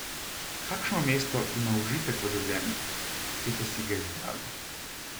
Kakšno mesto ima užitek v življenju, ki ste si ga izbrali?